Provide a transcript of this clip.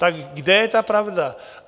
Tak kde je ta pravda?